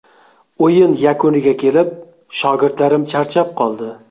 O‘yin yakuniga kelib, shogirdlarim charchab qoldi.